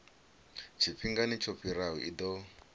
tshifhingani tsho fhiraho i ḓo